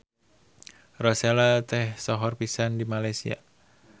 Rosella teh sohor pisan di Malaysia.